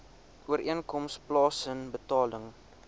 ooreenkoms plaasen betaling